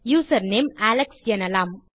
username Alex எனலாம்